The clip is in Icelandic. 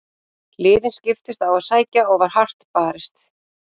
Liðin skiptust á að sækja og var hart barist.